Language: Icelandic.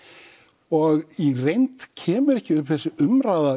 og í reynd kemur ekki upp þessi umræða